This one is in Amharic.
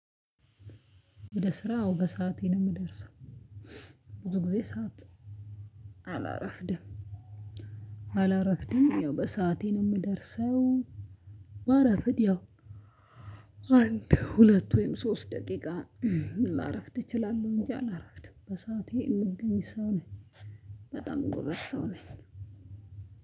ወደ ስራ አዎ በሰአቴ ነው የምደርሰው። ብዙ ጊዜ ሰዓት አላረፍድም አላረፍድም ያው በሰአቴ ነው የምደርሰው ባረፍድ ያው አንድ ሁለት ወይም ሶስት ደቂቃ ላረፍድ እችላለሁ እንጂ አላረፍድም በሰአቴ ምገኝ ሰው ነኝ በጣም ጎበዝ ሰው ነኝ።